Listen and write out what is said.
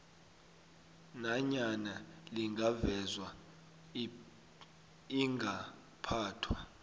nanyana lingavezwa ingaphathwa